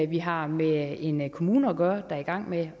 vi har med en en kommune at gøre der er i gang med